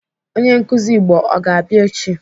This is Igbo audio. Onye nkụzi Igbo ọ ga-abịa echi?